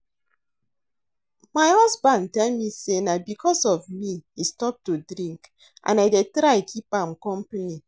My husband tell me say na because of me he stop to drink and I dey try keep am company